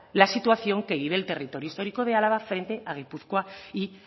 la situación que vive el territorio histórico de álava frente a gipuzkoa y